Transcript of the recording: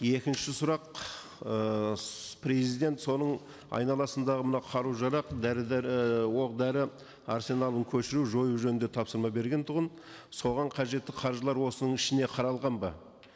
екінші сұрақ ыыы президент соның айналасындағы мына қару жарақ дәрі ііі оқ дәрі арсеналын көшіру жою жөнінде тапсырма берген тұғын соған қажетті қаржылар осының ішіне қаралған ба